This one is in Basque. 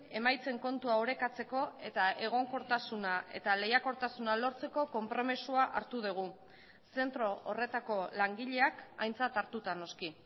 emaitzen kontua orekatzeko eta egonkortasuna eta lehiakortasuna lortzeko konpromisoa hartu dugu zentro horretako langileak aintzat hartuta noski